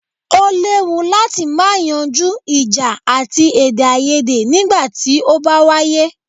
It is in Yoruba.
O léwu láti má yanjú ìjà àti èdèaiyèdè nígbà tí o bá wáyé.